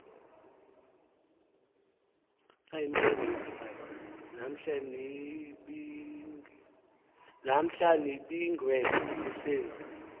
namhla nibingiwe sinenz